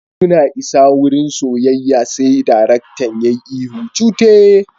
Suna isa wurin soyayya sai darektan yayi ihu cute!